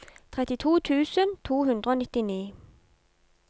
trettito tusen to hundre og nittini